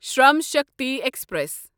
Shram Shakti express